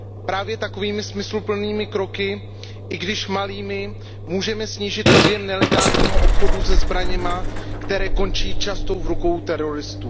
Právě takovými smysluplnými kroky, i když malými, můžeme snížit objem nelegálního obchodu se zbraněmi, které končí často v rukou teroristů.